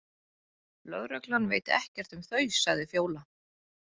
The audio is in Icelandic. Lögreglan veit ekkert um þau, sagði Fjóla.